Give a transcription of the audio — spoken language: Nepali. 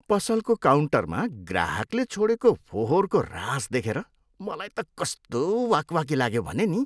पसलको काउन्टरमा ग्राहकले छोडेको फोहोरको रास देखेर मलाई त कस्तो वाक् वाकी लाग्यो भने नि।